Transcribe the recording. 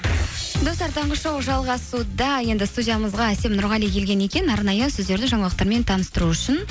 достар таңғы шоу жалғасуда енді студиямызға әсем нұрғали келген екен арнайы сіздерді жаңалықтармен таныстыру үшін